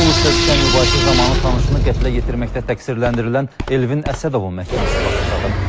Pul üstə düşən mübahisə zamanı tanışını qətlə yetirməkdə təqsirləndirilən Elvin Əsədovun məhkəməsi başa çatıb.